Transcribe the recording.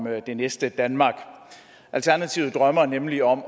det næste danmark alternativet drømmer nemlig om